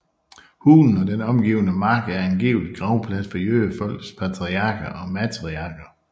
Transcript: Hulen og den omgivende mark er angiveligt gravplads for jødefolkets patriarker og matriarker